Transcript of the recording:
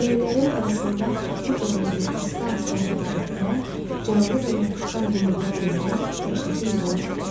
Lələklərin arasında tüklü qollarını asta-asta hərəkət etdirən canlı və yapışqan yumağa bənzəyən dəhşətli heyvan görünürdü.